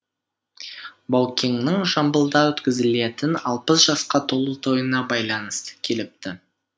баукеңнің жамбылда өткізілетін алпыс жасқа толу тойына байланысты келіпті